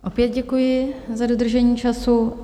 Opět děkuji za dodržení času.